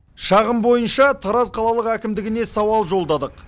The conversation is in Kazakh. шағым бойынша тараз қалалық әкімдігіне сауал жолдадық